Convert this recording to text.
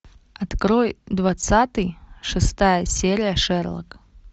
открой двадцатый шестая серия шерлок